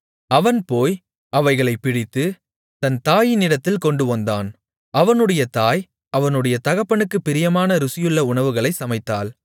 அவன் போய் அவைகளைப் பிடித்து தன் தாயினிடத்தில் கொண்டுவந்தான் அவனுடைய தாய் அவனுடைய தகப்பனுக்குப் பிரியமான ருசியுள்ள உணவுகளைச் சமைத்தாள்